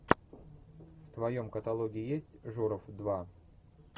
в твоем каталоге есть журов два